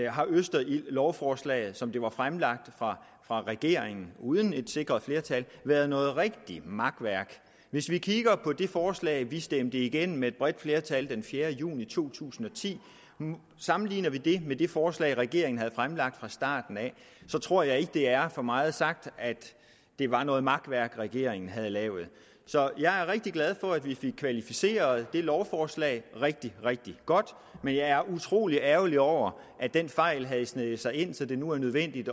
har østerildlovforslaget som det var fremsat fra regeringen uden et sikret flertal været noget rigtig makværk hvis vi kigger på det forslag vi stemte igennem med et bredt flertal den fjerde juni to tusind og ti og sammenligner det med det forslag regeringen havde fremsat fra starten så tror jeg ikke at det er for meget sagt at det var noget makværk regeringen havde lavet så jeg er rigtig glad for at vi fik kvalificeret det lovforslag rigtig rigtig godt men jeg er utrolig ærgerlig over at den fejl havde sneget sig ind så det nu er nødvendigt